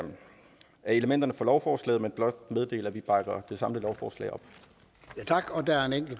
elementerne fra lovforslaget men blot meddele at vi bakker det samlede lovforslag